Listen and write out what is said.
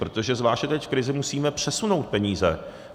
Protože zvláště teď v krizi musíme přesunout peníze.